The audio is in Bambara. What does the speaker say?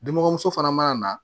Denmɔgɔmuso fana mana na